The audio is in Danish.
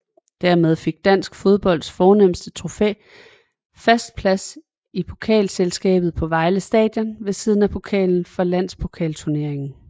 Dermed fik dansk fodbolds fornemste trofæ fast plads i pokalskabet på Vejle Stadion ved siden af pokalen for landspokalturneringen